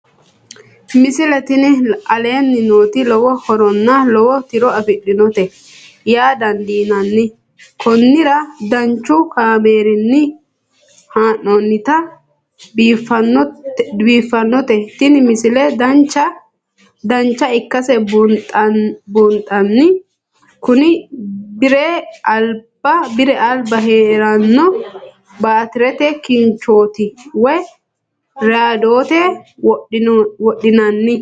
misile tini aleenni nooti lowo horonna lowo tiro afidhinote yaa dandiinanni konnira danchu kaameerinni haa'noonnite biiffannote tini misile dancha ikkase buunxanni kuni bire alba heeranno baatirete kinchoooti woy raadoonete wodhinanni